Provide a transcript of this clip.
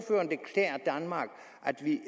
at det